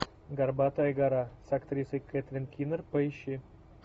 горбатая гора с актрисой кэтрин кинер поищи